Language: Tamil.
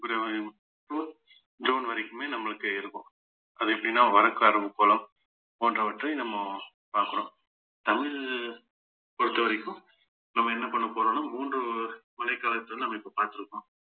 ஜூன் ஜூன் வரைக்குமே நம்மளுக்கு இருக்கும் அது எப்படின்னா போன்றவற்றை நம்ம பார்க்கிறோம் தமிழ் பொறுத்தவரைக்கும் நம்ம என்ன பண்ண போறோம்னா மூன்று மழைக்காலத்திலிருந்து நம்ம இப்ப பார்த்திருக்கோம்